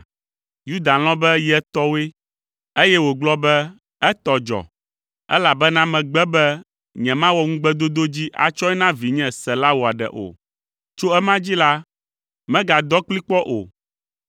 Yuda lɔ̃ be ye tɔwoe, eye wògblɔ be, “Etɔ dzɔ, elabena megbe be nyemawɔ ŋugbedodo dzi atsɔe na vinye, Sela wòaɖe o.” Tso ema dzi la, megadɔ kplii kpɔ o.